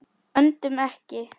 Öndum ekki.